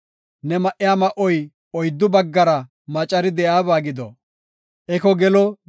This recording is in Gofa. Ne ma7iya ma7oy oyddu baggara macari de7iyaba gido.